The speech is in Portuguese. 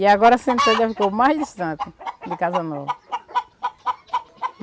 E agora o Centro-Sé já ficou mais distante do Casa Nova.